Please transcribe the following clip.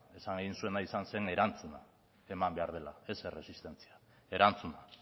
esan nahi egin zuena izan zen erantzuna eman behar dela ez erresistentzia erantzuna